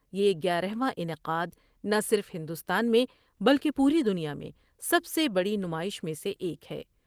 یہ گیارہواں انعقاد ناصرف ہندوستان میں بلکہ پوری دنیا میں سب سے بڑی نمائش میں سے ایک ہے ۔